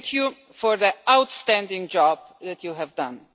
Thank you for the outstanding job that you have done.